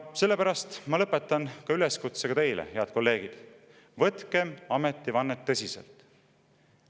Sellepärast ma lõpetan üleskutsega teile, head kolleegid: võtkem ametivannet tõsiselt!